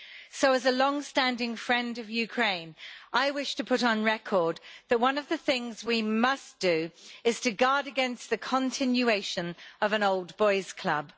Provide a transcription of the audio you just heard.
So, as a long standing friend of Ukraine, I wish to put on record that one of the things we must do is to guard against the continuation of an old boys' club.